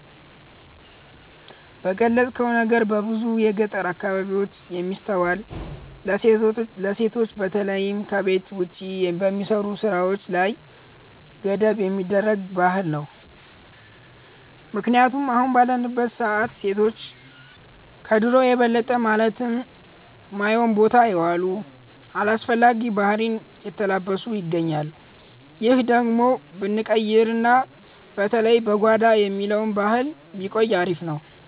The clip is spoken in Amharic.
የገለጽከው ነገር በብዙ የገጠር አካባቢዎች የሚስተዋል፣ ለሴቶች በተለይም ከቤት ውጭ በሚሰሩ ስራዎች ላይ ገደብ የሚያደርግ ባህል ነው። ምክንያቱም አሁን ባለንበት ሰዓት ሴቶች ከድሮው የበለጠ ማለት ማዮን ቦታ የዋሉ፣ አላስፈላጊ ባህሪን የተላበሱ ይገኛሉ። ይህ ነገር ብንቀይርና በተለይ "በጓዳ" የሚባለው ባህል ቢቆይ አሪፍ ነበር።